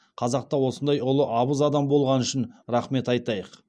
қазақта осындай ұлы абыз адам болғаны үшін рахмет айтайық